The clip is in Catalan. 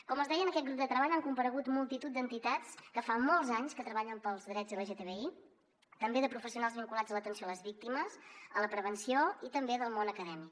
com els deia en aquest grup de treball han comparegut multitud d’entitats que fa molts anys que treballen pels drets lgtbi també de professionals vinculats a l’atenció a les víctimes a la prevenció i també del món acadèmic